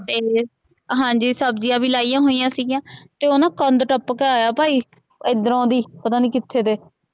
ਹਾਂਜੀ ਸਬਜੀਆਂ ਵੀ ਲਾਈਆਂ ਹੋਈਆਂ ਸੀਗੀਆਂ ਤੇ ਓਹ ਨਾ ਕੰਧ ਟਪਕੇ ਆਯਾ ਭਾਈ ਇਧਰੋ ਦੀ ਪਤਾ ਨੀ ਕਿਥੇ ਤੇ।